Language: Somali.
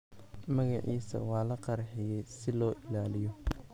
Magaciisa waa la qariyay si loo ilaaliyo.